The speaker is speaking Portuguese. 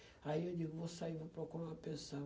Aí eu digo, vou sair, vou procurar uma pensão.